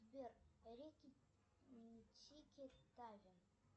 сбер рики тики тави